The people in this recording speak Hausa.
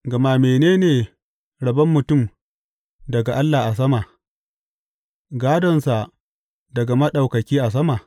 Gama mene ne rabon mutum daga Allah a sama, gādonsa daga Maɗaukaki a sama?